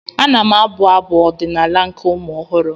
Ana m abụ Abụ ọdịnaala nke ụmụ ọhụrụ